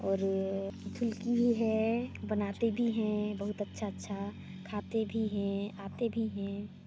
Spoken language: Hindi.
और ये फुलकी भी है बनाते भी हैं बहुत अच्छा अच्छा खाते भी हैं आते भी हैं।